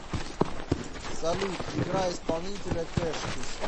салют играй исполнителя кэшхис